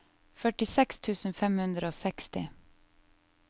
førtiseks tusen fem hundre og seksti